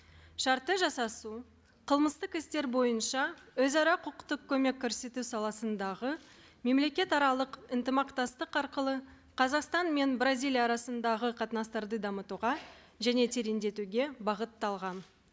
шартты жасасу қылмыстық істер бойынша өзара құқықтық көмек көрсету саласындағы мемлекетаралық ынтымақтастық арқылы қазақстан мен бразилия арасындағы қатынастарды дамытуға және тереңдетуге бағытталған